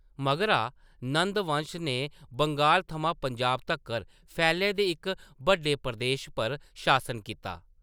मगरा, नंद वंश ने बंगाल थमां पंजाब तक्कर फैले दे इक बड्डे प्रदेश पर शासन कीता।